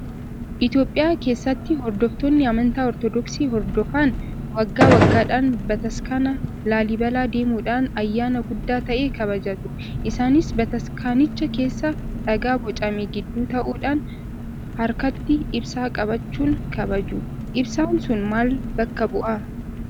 Itoophiyaa keessatti hordoftoonni amantaa ortodoksii hordofan waggaa waggaadhaan bataskaana laallibalaa deemuudhaan ayyaana guddaa ta'e kabajatu. Isaanis bataskaanicha keessa dhagaa bocame gidduu ta'uudhaan harkatti ibsaa qabachuun kabajatu. Ibsaan sun maal bakka bu'aa?